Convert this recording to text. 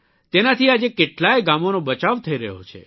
તેનાથી આજે કેટલાય ગામોનો બચાવ થઇ રહ્યો છે